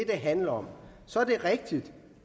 det handler om så er det rigtigt